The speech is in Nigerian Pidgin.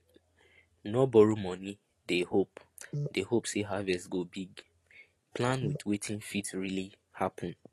no borrow money dey hope dey hope say harvest go big plan with wetin fit really happen